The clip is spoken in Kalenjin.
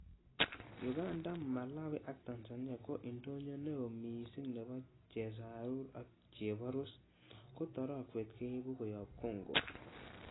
Uganda, Malawi ak Tanzania ko indonyo neo missing nebo chesarur ak cheborus, ko torogwet keibu koyob Congo.